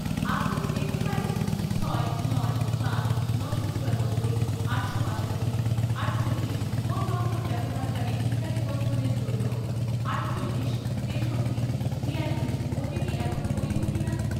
আপনি কি দেখতে পারেন ছয়, নয়, পাঁচ, নশো চুরাব্বই, আটশো বাষট্টি, আটচল্লিশ ফোন নম্বর ব্যবহারকারীর টিকা নিবন্ধনের জন্য আটচল্লিশ, তেষট্টি, বিয়াল্লিশ ওটিপি এখনও বৈধ কিনা?